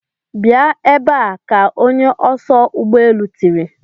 Bịa ebe a! ka onye oso ụgbọ elu tìrì.